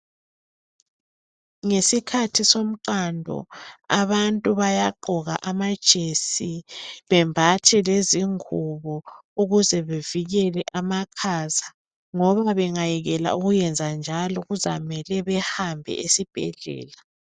Ngesikhathi somqando abantu bayagqoka amajesi bembathe lezingubo ukuze bevikele amakhaza, ngoba bengayekela ukuyenzanjalo kuzamele behambe esibhedlela.